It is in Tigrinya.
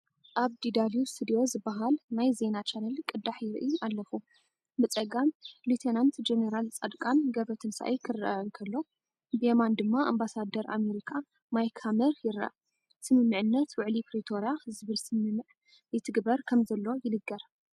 ኣብ DW studio ዝበሃል ናይ ዜና ቻነል ቅዳሕ ይርኢ ኣለኹ። ብጸጋም ሌ/ጀ/ፃድቃን ገ/ትንሳኤ ክረአ እንከሎ፡ ብየማን ድማ ኣምባሳደር ኣመሪካ ማይክ ሃመር ይርአ። "ስምምዕነት ውዕል ፕሪቶርያ" ዝብል ስምምዕ ይትግበር ከምዘሎ ይንገር።